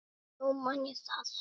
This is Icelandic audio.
Nú man ég það!